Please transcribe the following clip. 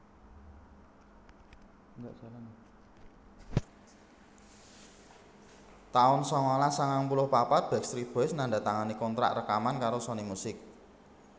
taun sangalas sangang puluh papat Backstreet Boys nandatangani kontrak rekaman karo Sony Music